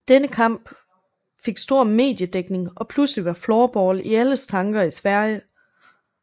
Denne kamp fik stor mediedækning og pludselig var floorball i alles tanker i Sverige